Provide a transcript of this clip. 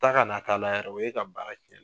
Taa ka na kna k'a la yɛrɛ o ye ka baara cɛn.